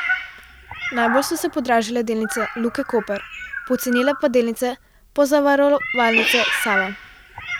Najbolj so se podražile delnice Luke Koper, pocenile pa delnice Pozavarovalnice Sava.